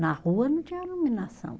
Na rua não tinha iluminação.